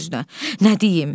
Qacar öz-özünə: Nə deyim?